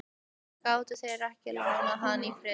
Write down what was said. Því gátu þeir ekki látið hann í friði?